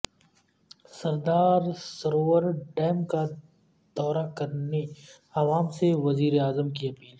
سردار Sarovar dam کا دورہ کرنے عوام سے وزیراعظم کی اپیل